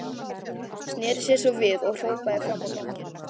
Sneri sér svo við og hrópaði fram á ganginn.